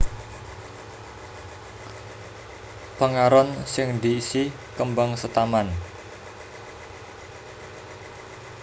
Pengaron sing diisi kembang setaman